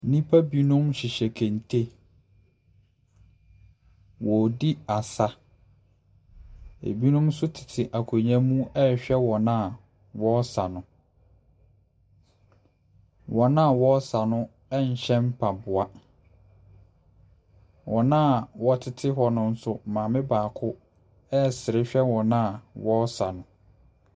Nnipa binom hyehyɛ kente. Wɔredi asa. Ɛbinom nso tete akonnwa ne mu rehwɛ wɔn a wɔresa no. wɔn a wɔresa no nhyɛ mpaboa. Wɔn a wɔ tete hɔ no nso, maame baako ɛresere hwɛ wɔn a wɔresa no.